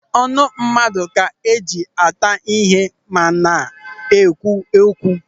Ọnụ mmadụ ka a ga-eji ata ihe ma na-ekwu okwu.